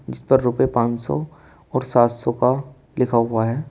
इस पर रुपए पांच सौ और सात सौ का लिखा हुआ है।